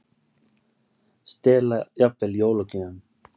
Stela jafnvel jólagjöfum